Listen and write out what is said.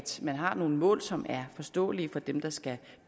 man har nogle mål som er forståelige for dem der skal